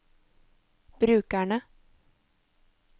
brukerne